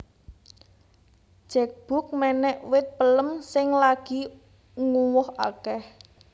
Jack Bugg menek wit pelem sing lagi nguwoh akeh